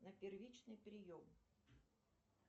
на первичный прием